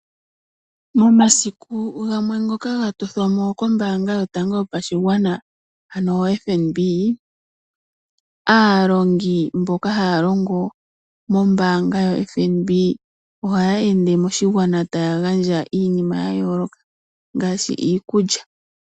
Momasiku gamwe ngoka ga tothwa mo kombaanga yotango yopashigwana (FNB) aalongi mboka haya longo mombaanga ya FNB ohaya ende moshigwana taya gandja iinima ya yooloka ngaashi iikulya.